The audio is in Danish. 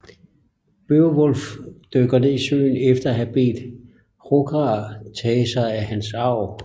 Beovulf dykker ned i søen efter at have bedt Hroðgar tage sig af hans arv